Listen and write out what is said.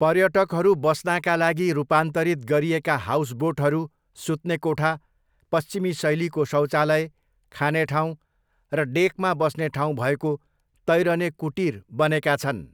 पर्यटकहरू बस्नाका लागि रूपान्तरित गरिएका हाउसबोटहरू सुत्ने कोठा, पश्चिमी शैलीको शौचालय, खाने ठाउँ र डेकमा बस्ने ठाउँ भएको तैरने कुटीर बनेका छन्।